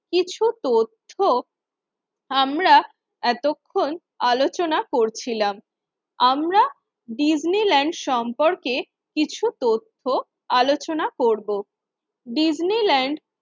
কিছু তথ্য আমরা এতক্ষণ আলোচনা করছিলাম। আমরা ডিজনিল্যান্ড সম্পর্কে কিছু তথ্য আলোচনা করব, ডিজনিল্যান্ড